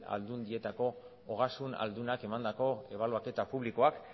aldundietako ogasun aldunek emandako ebaluaketa publikoak